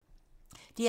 DR1